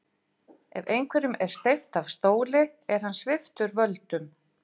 Ef einhverjum er steypt af stóli er hann sviptur völdum.